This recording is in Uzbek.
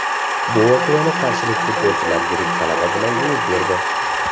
Bu voqeani qarshilik futbolchilar yirik g‘alaba bilan yuvib berdi.